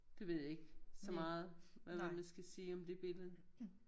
Det ved jeg ikke så meget hvad mon man skal sige om dét billede